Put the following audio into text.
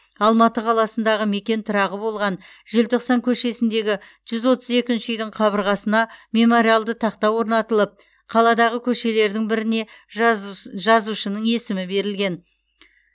алматы қаласындағы мекен тұрағы болған желтоқсан көшесіндегі жүз отыз екінші үйдің қабырғасына мемориалды тақта орнатылып қаладағы көшелердің біріне жазусы жазушының есімі берілген